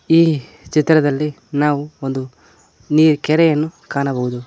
ಈ ಚಿತ್ರದಲ್ಲಿ ನಾವು ಒಂದು ನೀ ಕೆರೆಯನ್ನು ಕಾಣಬಹುದು.